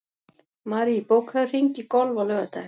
Marie, bókaðu hring í golf á laugardaginn.